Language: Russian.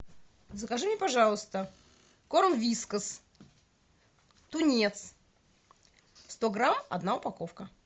закажи мне пожалуйста корм вискас тунец сто грамм одна упаковка